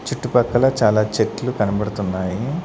చుట్టుపక్కల చాలా చెట్లు కనబడుతున్నాయి.